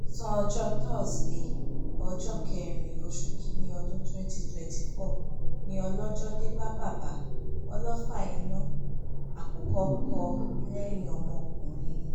ọ̀sán ọjọ́ tọ́sídẹ̀ẹ́ ọjọ́ kẹrin oṣù kín-ín-ní ọdún twenty twenty four ni ọlọ́jọ́ dé bá bàbá ọlọ́fà-iná àkùkọ kọ lẹ́yìn ọmọkùnrin